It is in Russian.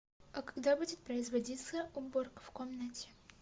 а когда будет производиться уборка в комнате